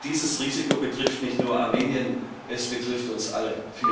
Und dieses Risiko betrifft nicht nur Armenien, es betrifft uns alle.